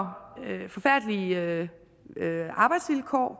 forfærdelige arbejdsvilkår